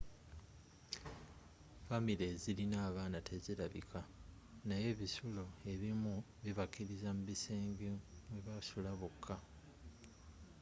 famire ezirina abaana tezirabika naye ebisulo ebimu bibakkiriza mu bisenge mwe basula bokka